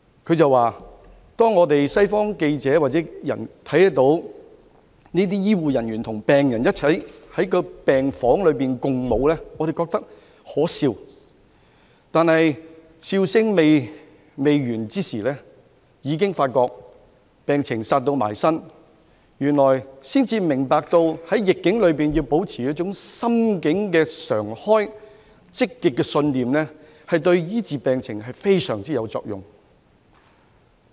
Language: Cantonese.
他說當他們這些西方記者或人民看到這些醫護人員與病人一起在病房內共舞，他們覺得可笑，但笑聲未完便已發覺病毒"殺到埋身"，這時才明白到原來在逆境中保持心境開放和積極信念，對醫治病情非常有用。